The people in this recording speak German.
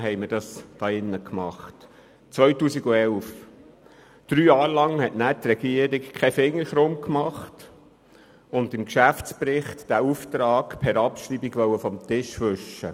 Während drei Jahren hat sich die Regierung nicht mit diesem Thema beschäftigt und wollte diesen Auftrag im Geschäftsbericht schliesslich per Abschreibung erledigen.